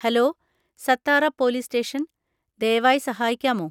Hello, Satara police station, ദയവായി സഹായിക്കാമോ?